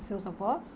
E seus avós?